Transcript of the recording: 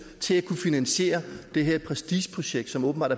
til at kunne finansiere det her prestigeprojekt som åbenbart